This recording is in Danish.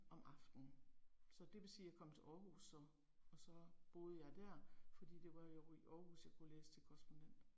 Om aftenen. Så det vil sige jeg kom til Aarhus som, og så boede jeg der, fordi det var jo i Aarhus jeg kunne læse til korrespondent